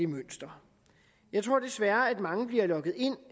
mønster jeg tror desværre at mange bliver lokket ind